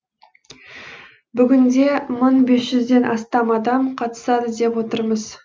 бүгінде мың бес жүзден астам адам қатысады деп отырмыз